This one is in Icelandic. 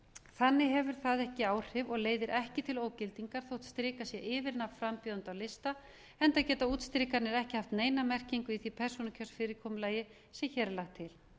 þannig hefur það ekki áhrif og leiðir ekki til ógildingar þótt strikað sé yfir nafn frambjóðanda á lista enda geta útstrikanir ekki haft neina merkingu í því persónukjörsfyrirkomulagi sem hér er lagt til